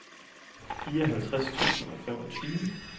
fireoghalvtreds tusind og femogtyve